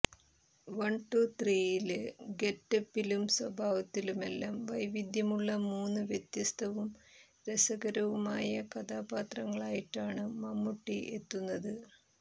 one two ത്രിയില് ഗെറ്റപ്പിലും സ്വഭാവത്തിലുമെല്ലാം വൈവിധ്യമുള്ള മൂന്ന് വ്യത്യസ്തവും രസകരവുമായ കഥാപാത്രങ്ങളായിട്ടാണ് മമ്മൂട്ടി എത്തുന്നത്